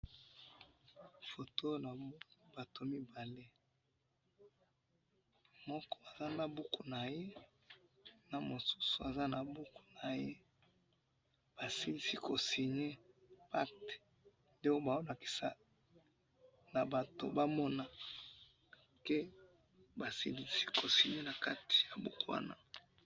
photo na moni ya butu mibale moko aza na buku naye na mosusu aza na buku naye ba silisi ko signe pacte donc bazo lakisa batu bamona que ba silisi ko signe na buku wana